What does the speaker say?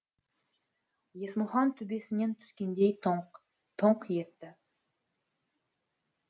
есмұхан төбесінен түскендей тоңқ тоңқ етті